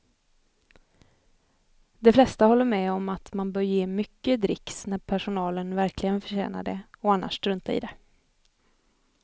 De flesta håller med om att man bör ge mycket dricks när personalen verkligen förtjänar det och annars strunta i det.